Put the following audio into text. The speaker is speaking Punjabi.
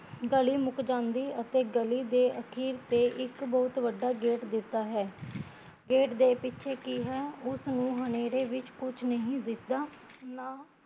ਗਲੀ ਮੁੱਕ ਜਾਂਦੀ ਅਤੇ ਗਲੀ ਦੇ ਅਖੀਰ ਤੇ ਇੱਕ ਬਹੁਤ ਵੱਡਾ ਗੇਟ ਦਿਸਦਾ ਹੈ ਗੇਟ ਦੇ ਪਿੱਛੇ ਕੀ ਹੈ ਉਸਨੂ ਹਨੇਰੇ ਵਿੱਚ ਕੁਸ਼ ਨਹੀਂ ਦਿਸਦਾ